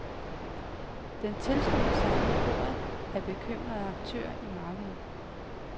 Den tilslutter sig nu koret af bekymrede aktører i markedet.